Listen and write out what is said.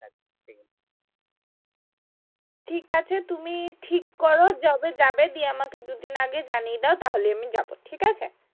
ঠিক আছে তুমি ঠিক করো যবে যাবে দিয়ে আমাকে দুই দিন আগে জানিয়ে দাও তাহলেই আমি যাবো ঠিকআছে